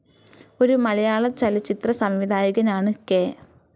ഒരു മലയാളചലച്ചിത്ര സംവിധായകൻ ആണ്‌ കെ.